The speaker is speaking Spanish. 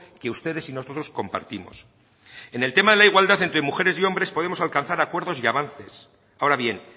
que ustedes y nosotros compartimos en el tema de la igualdad entre mujeres y hombres podemos alcanzar acuerdos y avances ahora bien